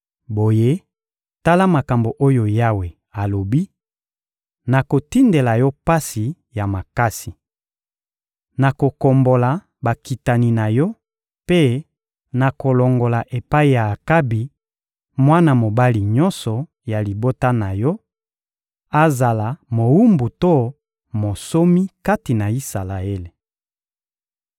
Boye, tala makambo oyo Yawe alobi: «Nakotindela yo pasi ya makasi. Nakokombola bakitani na yo mpe nakolongola epai ya Akabi mwana mobali nyonso ya libota na yo: azala mowumbu to monsomi kati na Isalaele.